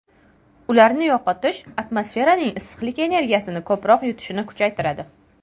Ularni yo‘qotish atmosferaning issiqlik energiyasini ko‘proq yutishini kuchaytiradi.